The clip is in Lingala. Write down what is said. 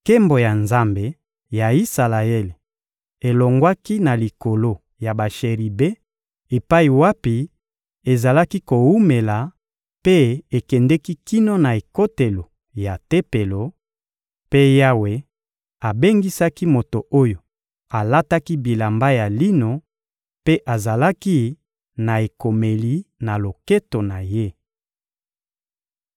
Nkembo ya Nzambe ya Isalaele elongwaki na likolo ya basheribe epai wapi ezalaki kowumela mpe ekendeki kino na ekotelo ya Tempelo; mpe Yawe abengisaki moto oyo alataki bilamba ya lino mpe azalaki na ekomeli na loketo na ye.